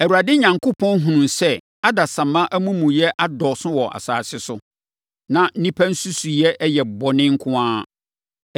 Awurade Onyankopɔn hunuu sɛ adasamma amumuyɛ adɔɔso wɔ asase so, na nnipa nsusuiɛ nyinaa yɛ bɔne nko ara.